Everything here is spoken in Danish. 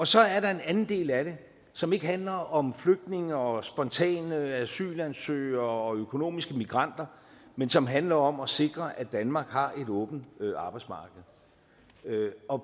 så er der en anden del af det som ikke handler om flygtninge og spontane asylansøgere og økonomiske migranter men som handler om at sikre at danmark har et åbent arbejdsmarked